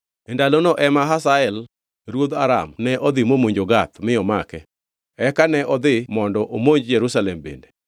E ndalono ema Hazael ruodh Aram ne odhi momonjo Gath mi omake. Eka ne odhi mondo omonj Jerusalem bende.